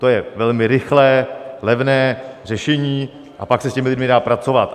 To je velmi rychlé, levné řešení a pak se s těmi lidmi dá pracovat.